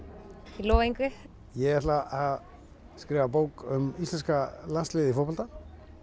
ég lofa engu ég ætla að skrifa bók um íslenska landsliðið í fótbolta